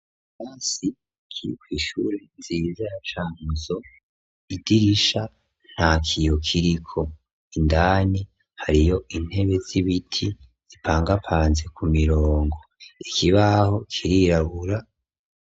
Ikirasi kiri kw' ishure nziza ya Cankuzo, idirisha nta kiyo kiriko, indani hariyo intebe z'ibiti zipangapanze ku mirongo ,ikibaho kirirabura.